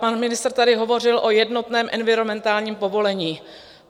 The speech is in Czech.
Pan ministr tady hovořil o jednotném environmentálním povolení.